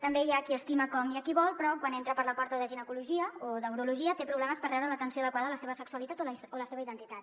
també hi ha qui estima com i qui vol però quan entra per la porta de ginecologia o d’urologia té problemes per rebre l’atenció adequada a la seva sexualitat o a la seva identitat